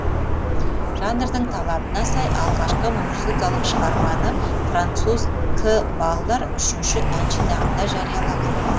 жанрдың талабына сай алғашқы музыкалық шығарманы француз к баллар үшінші ән жинағында жариялаған